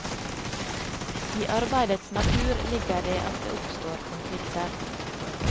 I arbeidets natur ligger det at det oppstår konflikter.